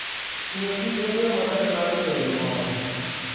Ng'iyo kich en yo maber mar ng'eyo gimoro.